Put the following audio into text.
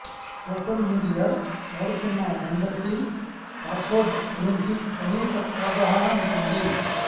social media వాడుతున్న వారందరికీ password గురించి కనీస అవగాహన ఉంటుంది